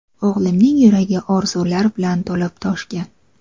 O‘g‘limning yuragi orzular bilan to‘lib-toshgan.